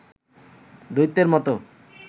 দৈত্যের মতো